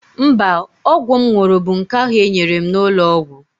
Mba, ọgwụ m ṅụrụ bụ nke ahụ e nyere m n'ụlọ ọgwụ.